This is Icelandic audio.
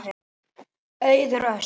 Auður Ösp.